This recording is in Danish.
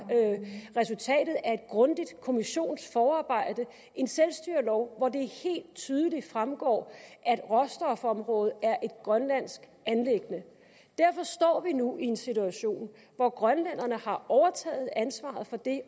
resultatet af et grundigt kommissionsforarbejde en selvstyrelov hvoraf det helt tydeligt fremgår at råstofområdet er et grønlandsk anliggende derfor står vi nu i en situation hvor grønlænderne har overtaget ansvaret for det